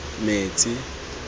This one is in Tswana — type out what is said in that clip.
metsi